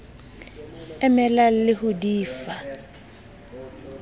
emelang le ho di fa